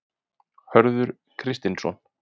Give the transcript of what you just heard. Hörður Kristinsson.